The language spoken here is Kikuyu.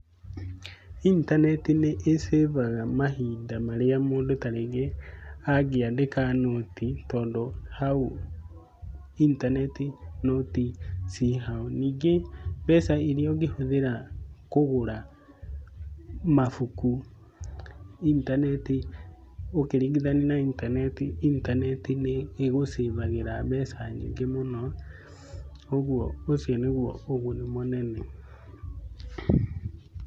Intaneti nĩ ĩ cĩbaga mahinda marĩa mũndũ ta rĩngĩ angĩandĩka nũti tondũ hau intaneti nũti ciĩ hau. nyingĩ mbeca iria ũngĩhũthĩra kũgũra mabũku, intaneti ũkĩringithania na intaneti, intaneti nĩ ĩ gũcĩbagĩra mbeca nyĩngĩ mũno, ũguo ũcio nĩguo ũguni mũnene mũno